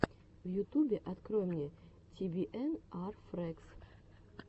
в ютубе открой мне ти би эн ар фрэгс